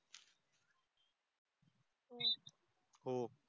हो